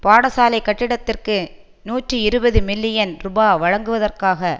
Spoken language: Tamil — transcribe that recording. பாடசாலை கட்டிடத்திற்கு நூற்றி இருபது மில்லியன் ரூபா வழங்குவதற்காக